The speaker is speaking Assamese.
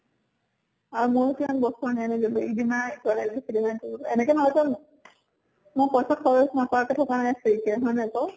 আৰু ময়ো কিমান বস্তু আনি ৰিধিমাই এনেকে নহয় যে মই পইছা খৰচ নকৰাকে থাকে নাই, free কে হয় নে নহয় কʼ?